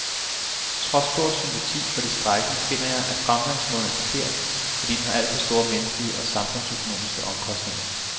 Trods stor sympati for de strejkende finder jeg, at fremgangsmåden er forkert, fordi den har alt for store menneskelige og samfundsøkonomiske omkostninger.